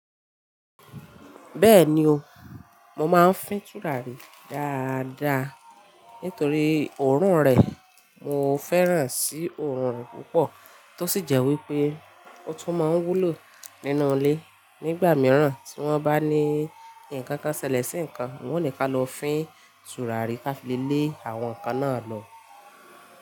Bẹ́ẹ̀ni o, mo máa ń fín tùràrí dáadáa nítorí òórùn rẹ̀. Mo fẹ́ràn sí òórùn púpọ̀ tó sì jẹ́ wípé ó tún máa ń wúlò nínú ilé. Nígbà mìíràn tí wọ́n bá ní ǹkan kan ṣẹlẹ̀ sí ǹkan, wọ́n ò ní ká lọ fín tùràrí ká fi lé àwọn ǹkan náà lọ.